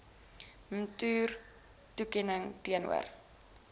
mtur toekenning teenoor